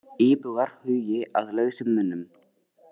Íbúar hugi að lausum munum